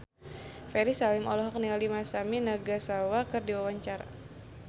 Ferry Salim olohok ningali Masami Nagasawa keur diwawancara